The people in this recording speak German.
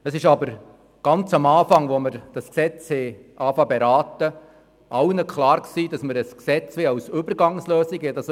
Es war aber zu Beginn der Beratungen des Gesetzes allen Beteiligten klar, dass wir ein Gesetz als Übergangslösung möchten.